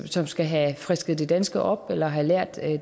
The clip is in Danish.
som skal have frisket det danske op eller have lært